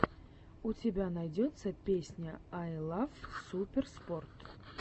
у тебя найдется песня ай лав суперспорт